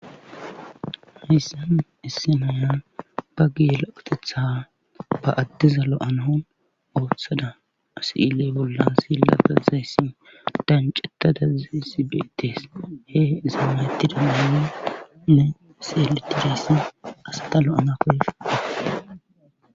Hayssan isse nanan ba gila qotetha ba addeza lo7anaon ooththada asi7ile bollan silla dazayssi danceta daazay sibeetees he zamanayttida maaenne seeletiressi asata lo7ana koe.